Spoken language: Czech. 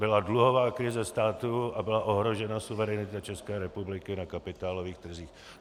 Byla dluhová krize státu a byla ohrožena suverenita České republiky na kapitálových trzích.